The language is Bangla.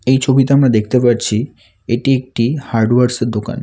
এই ছবিতে আমরা দেখতে পারছি এটি একটি হার্ডওয়ার্স -এর দোকান।